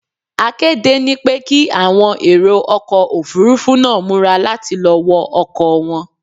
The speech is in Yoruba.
A kéde ni pé kí àwọn èrò ọkọ̀ Òfurufú náà múra láti lọ wọ ọkọ̀ wọn.